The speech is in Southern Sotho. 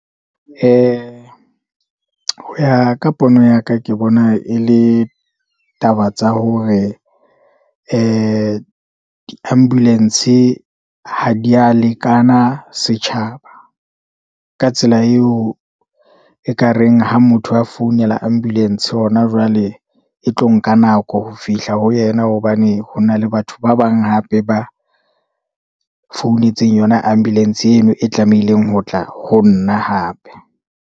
Ho ya ka pono ya ka, ke bona e le taba tsa hore ee di-ambulance ha di a lekana setjhaba, ka tsela eo e ka reng ha motho a founela ambulence hona jwale, e tlo nka nako ho fihla ho yena, hobane ho na le batho ba bang hape ba founetseng yona ambulance eno e tlamehileng ho tla ho nna hape.